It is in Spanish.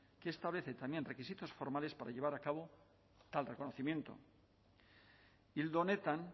que establece los requisitos formales para llevar a cabo tal reconocimiento ildo honetan